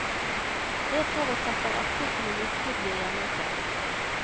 Det forutsetter at kuttene virkelig blir gjennomført.